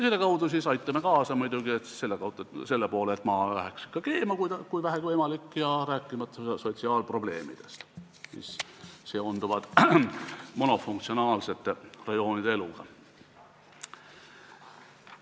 Selle kaudu aitame kaasa muidugi sellele, et Maa läheks ikka keema, kui vähegi võimalik, rääkimata sotsiaalprobleemidest, mis seonduvad monofunktsionaalsete rajoonidega.